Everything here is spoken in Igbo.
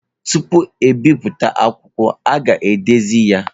Tupu ebipụta akwụkwọ, a ga-edezi ya.